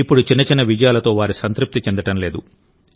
ఇప్పుడు చిన్న చిన్న విజయాలతో వారు సంతృప్తి చెందడం లేదు